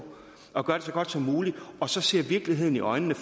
at gøre det så godt som muligt og ser virkeligheden i øjnene